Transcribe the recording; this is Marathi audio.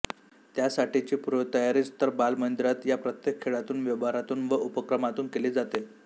त्यासाठीची पूर्वतयारीच तर बालमंदिरात या प्रत्येक खेळातून व्यवहारातून व उपक्रमातून केली जाते